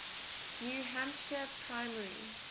new hampshire primary